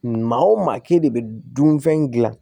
Maa o maa k'e de bɛ dunfɛn dilan